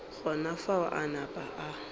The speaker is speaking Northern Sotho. gona fao a napa a